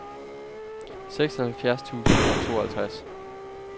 seksoghalvfjerds tusind og tooghalvtreds